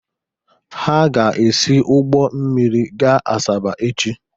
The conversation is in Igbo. Ha ga-esi ụgbọ mmiri gaa Asaba echi.